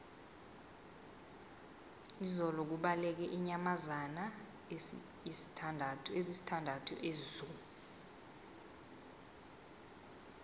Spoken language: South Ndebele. izolo kubaleke iinyamazana ezisithandathu ezoo